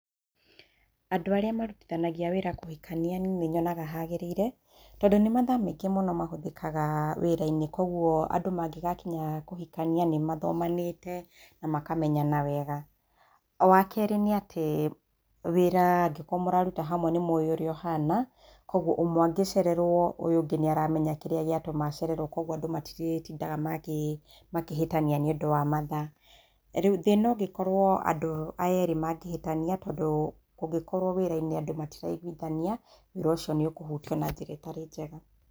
Andũ arĩa marutithanagia wĩra kũhikania niĩ nĩnyonaga hagĩrĩire tondũ nĩ mathaa maingĩ mũno mahũthĩkaga wĩrainĩ koguo andũ mangĩgakinya kũhikania nĩmathomanĩte na makamenyana wega. Wakerĩ nĩ atĩ wĩra angĩkorwo mũraruta hamwe nĩmũĩ ũrĩa ũhana koguo ũmwe angĩcererwo ũyũ ũngĩ naĩramenya kĩrĩa gĩa tũma ũyũ ũngĩ acererwo koguo matirĩtindaga makĩhĩtania nĩũndũ wa mathaa. Rĩu thĩna ũngĩkorwo andũ aya erĩ mangĩhĩtania tondũ kũngĩkorwo wĩrainĩ andũ erĩ matiraiguithania wĩra ũcio nĩ ũkũhutio na njĩra ĩtarĩ njega.